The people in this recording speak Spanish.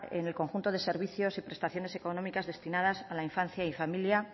en el conjunto de servicios y prestaciones económicas destinadas a la infancia y familia